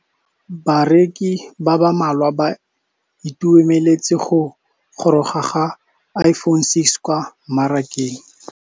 Bareki ba ba malwa ba ituemeletse go gôrôga ga Iphone6 kwa mmarakeng.